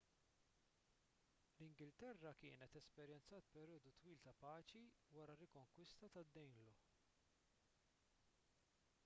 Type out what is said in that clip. l-ingilterra kienet esperjenzat perjodu twil ta' paċi wara r-rikonkwista tad-danelaw